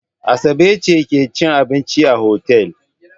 Asabe ce take cin abinci a otel.